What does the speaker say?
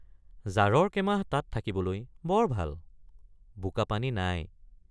জাৰৰ কেমাহ তাত থাকিবলৈ বৰ ভাল বোকাপানী নাই।